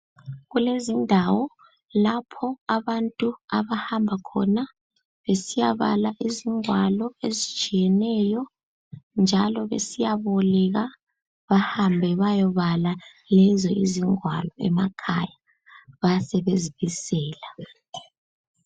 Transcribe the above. Kulezindawo lapho abantu abahamba khona besiyabala izingwalo ezitshiyeneyo njalo besiyaboleka bahambe bayobala lezo izingwalo emakhaya. Basebezibisela.